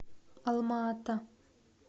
алма ата